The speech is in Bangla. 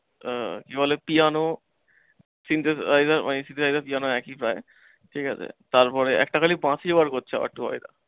আহ কি বলে piano, synthesizer synthesizer piano একই প্রায় ঠিকাছে। তারপরে একটা খালি বাঁশি বার করছে আবার টুবাইরা।